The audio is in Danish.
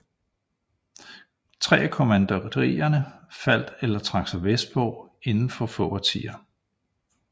Tre af kommanderierne faldt eller trak sig vestpå inden for få årtier